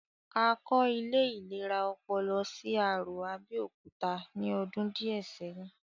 A kọ́ ilé ìlera ọpọlọ sí Arò, Abẹ́òkúta ní ọdún díẹ̀ sẹ́yìn